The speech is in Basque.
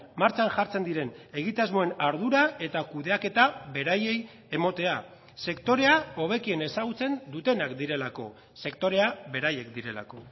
martxan jartzen diren egitasmoen ardura eta kudeaketa beraiei ematea sektorea hobekien ezagutzen dutenak direlako sektorea beraiek direlako